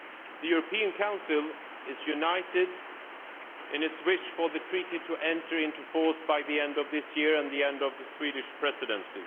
The European Council is united in its wish for the Treaty to enter into force by the end of this year and the end of the Swedish Presidency.